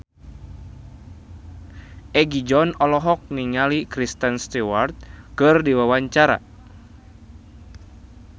Egi John olohok ningali Kristen Stewart keur diwawancara